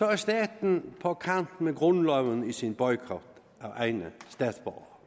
er staten på kanten af grundloven med sin boykot af egne statsborgere